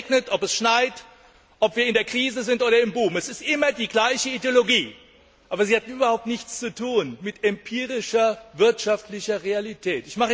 Ob es regnet, schneit, ob wir in der Krise sind oder im Boom es ist immer die gleiche Ideologie, aber sie hat überhaupt nichts zu tun mit empirischer wirtschaftlicher Realität.